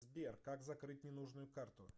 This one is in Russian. сбер как закрыть ненужную карту